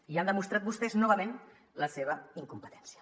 i han demostrat vostès novament la seva incompetència